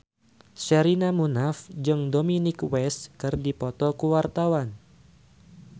Sherina Munaf jeung Dominic West keur dipoto ku wartawan